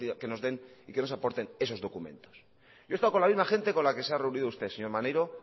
que nos den y nos aporten esos documentos yo he estado con la misma gente con la que se ha reunido usted señor maniero